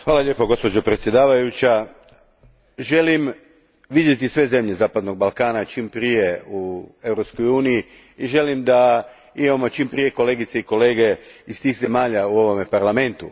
Gospođo predsjednice, želim vidjeti sve zemlje zapadnog Balkana čim prije u Europskoj uniji i želim da imamo čim prije kolegice i kolege iz tih zemalja u ovome Parlamentu.